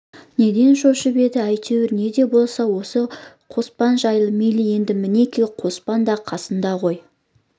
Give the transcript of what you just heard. неден шошып еді әйтеуір не де болса осы қоспан жайы мейлі енді мінекей қоспан да қасында ғой